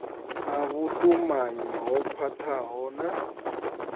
na vhutumanyi ho khwathaho na